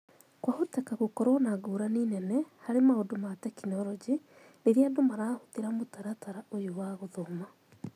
Kwahoteka gũkorũo na ngũrani nene harĩ maũndũ ma tekinoronjĩ rĩrĩa andũ marahũthĩra mũtaratara ũyũ wa gũthoma